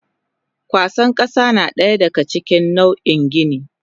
Kwasa kasa nadaya daga cikin nau in gini.